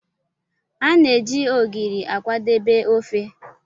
A na-eji Ogiri akwadebe ofe.